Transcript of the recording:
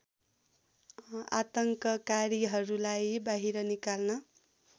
आतङ्ककारीहरूलाई बाहिर निकाल्न